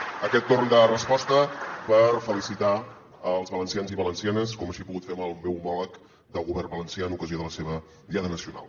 aquest torn de resposta per felicitar els valencians i valencianes com així he pogut fer amb el meu homòleg del govern valencià amb ocasió de la seva diada nacional